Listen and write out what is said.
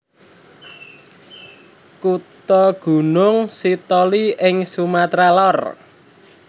Kutha Gunung Sitoli ing Sumatra Lor